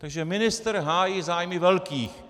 Takže ministr hájí zájmy velkých.